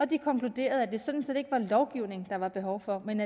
de konkluderede at det sådan set ikke var lovgivning der var behov for men